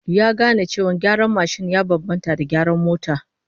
Ya gane cewa gyaran mashin ya bambanta da gyaran mota